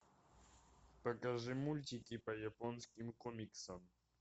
покажи мультики по японским комиксам